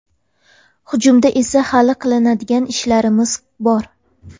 Hujumda esa hali qiladigan ishlarimiz bor.